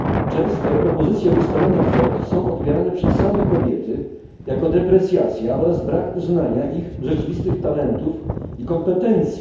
Często propozycje ustalania kwot są odbierane przez same kobiety jako deprecjacja oraz brak uznania ich rzeczywistych talentów i kompetencji.